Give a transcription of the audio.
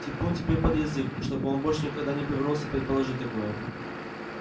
типун тебе под язык чтобы он больше никогда не повернулся предположить такое